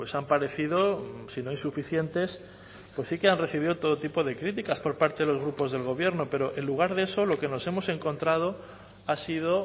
han parecido si no insuficientes pues sí que han recibido todo tipo de críticas por parte de los grupos del gobierno pero en lugar de eso lo que nos hemos encontrado ha sido